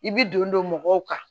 I bi don dɔ mɔgɔw kan